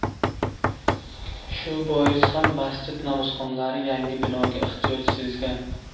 Shu bois ham masjid namozxonlari yangi binoga ehtiyoj sezgan.